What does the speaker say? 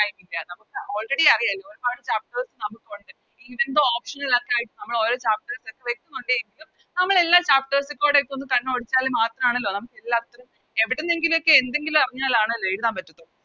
Time ഇല്ല നമുക്ക് Already അറിയ ഒരുപാട് Chapter നമുക്കൊണ്ട് Option കളൊക്കെ ആയിട്ട് നമ്മളോരോ Chapter പക്ഷെ വേഷമൊണ്ട് എങ്കിലും നമ്മളെല്ലാ Chapters ലെക്കുടെ ഒന്ന് കണ്ണോടിച്ചാല് മാത്രണല്ലോ നമുക്ക് എല്ലാത്തിനും എവിടുന്നെങ്കിലും ഒക്കെ എന്തെങ്കിലും അറിഞ്ഞാലാണല്ലോ എഴുതാൻ പറ്റു